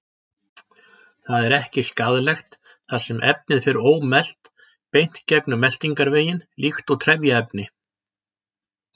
Það er ekki skaðlegt þar sem efnið fer ómelt beint gegnum meltingarveginn líkt og trefjaefni.